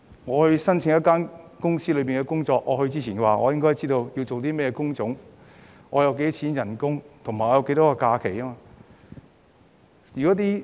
在申請某間公司的職位前，我便應該知道工種是甚麼，工資多少及假期日數。